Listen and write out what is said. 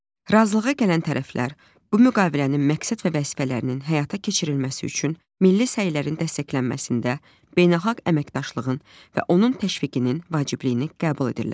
Razılığa gələn tərəflər, bu müqavilənin məqsəd və vəzifələrinin həyata keçirilməsi üçün milli səylərin dəstəklənməsində beynəlxalq əməkdaşlığın və onun təşviqinin vacibliyini qəbul edirlər.